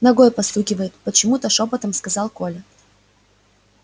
ногой постукивает почему то шёпотом сказал коля